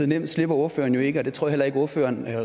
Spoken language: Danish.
nemt slipper ordføreren jo ikke og det tror jeg heller ikke ordføreren